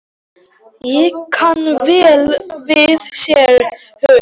Ég kann vel við séra Hauk.